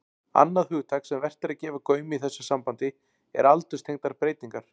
Annað hugtak sem vert er að gefa gaum í þessu sambandi er aldurstengdar breytingar.